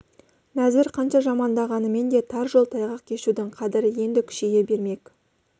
нәзір қанша жамандағанымен де тар жол тайғақ кешудің қадірі енді күшейе бермек